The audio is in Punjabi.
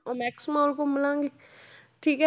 ਉਹ next ਮਾਹ ਘੁੰਮ ਲਵਾਂਗੇ ਠੀਕ ਹੈ l